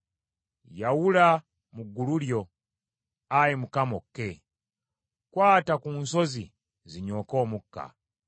Yawula mu ggulu lyo, Ayi Mukama , okke! Kwata ku nsozi zinyooke omukka!